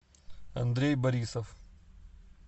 андрей борисов